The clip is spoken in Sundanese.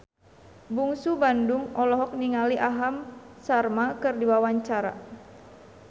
Bungsu Bandung olohok ningali Aham Sharma keur diwawancara